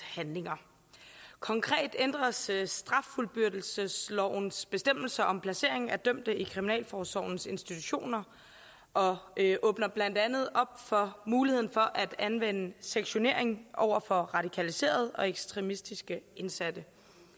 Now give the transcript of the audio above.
handlinger konkret ændres straffuldbyrdelseslovens bestemmelser om placering af dømte i kriminalforsorgens institutioner og det åbner blandt andet op for muligheden for at anvende sektionering over for radikaliserede og ekstremistiske indsatte